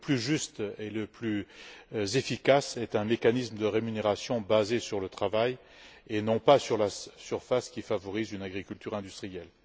Le plus juste et le plus efficace est un mécanisme de rémunération basé sur le travail et non pas sur la surface, qui favorise une agriculture industrielle.